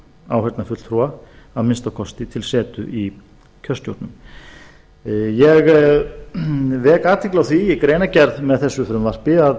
áheyrnarfulltrúa að minnsta kosti til setu í kjörstjórnum ég vek athygli á því í greinargerð með þessu frumvarpi að